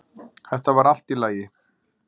Þetta var allt í lagi